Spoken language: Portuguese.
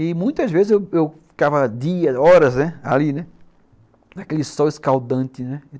E muitas vezes eu eu ficava dias, horas, né, ali, naquele sol escaldante, né.